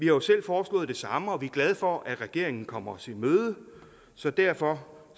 jo selv foreslået det samme og vi er glade for at regeringen kommer os i møde så derfor